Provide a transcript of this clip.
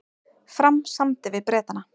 Fram samdi við Bretana